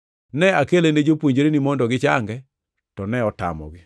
Ne akele ne jopuonjreni mondo gichange, to ne otamogi.”